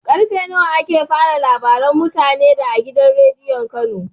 Karfe nawa ake fara labaran mutane da a gidan rediyon kano?